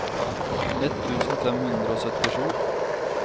ett tusen fem hundre og syttisju